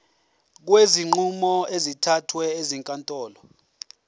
kwezinqumo ezithathwe ezinkantolo